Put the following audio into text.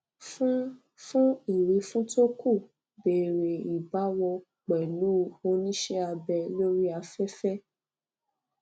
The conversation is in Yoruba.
fún fún ìwífún tó kù bẹrẹ ìbáwọ pẹlú onise abe lori afefe